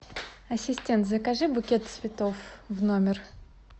ассистент закажи букет цветов в номер